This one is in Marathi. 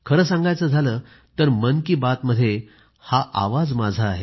खरं सांगायचं झालं तर मन की बात मध्ये हा आवाज माझा आहे